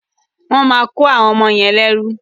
Wọ́n máa kọ́ àwọn ọmọ yẹn lẹ́rú.